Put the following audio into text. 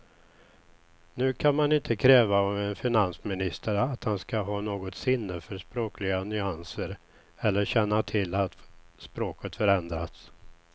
Nu kan man inte kräva av en finansminister att han ska ha något sinne för språkliga nyanser eller känna till att språket förändrats.